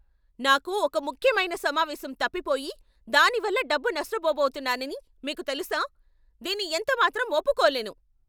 నాకు ఒక ముఖ్యమైన సమావేశం తప్పిపోయి దానివల్ల డబ్బు నష్ట పొబోతున్నానని మీకు తెలుసా? దీన్ని ఎంత మాత్రం ఒప్పుకోలేను.